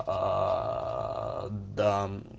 аа да